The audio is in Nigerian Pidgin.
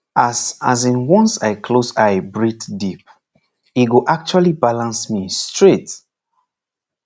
as as in once i close eye breathe deep e go actually balance me straight